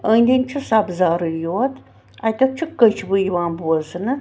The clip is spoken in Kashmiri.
.أنٛدۍأنٛدۍچُھ سبزارٕے یوت اَتٮ۪تٮ۪ھ چُھ کٔچھوٕیِوان بوزنہٕ